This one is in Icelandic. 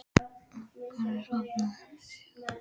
Af hverju ertu svona þrjóskur, Sigurður?